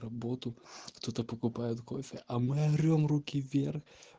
работу кто-то покупает кофе а мы орём руки вверх